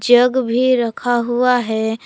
जग भी रखा हुआ है।